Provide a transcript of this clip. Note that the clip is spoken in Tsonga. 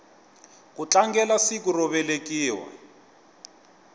ku tlangelasiku ro velekiwa